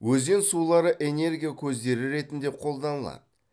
өзен сулары энергия көздері ретінде қолданылады